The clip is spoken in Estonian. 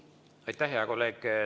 Aitäh, hea kolleeg!